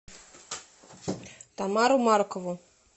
тамару маркову